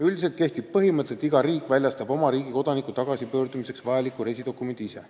Üldiselt kehtib põhimõte, et iga riik väljastab oma riigi kodaniku tagasipöördumiseks vajaliku reisidokumendi ise.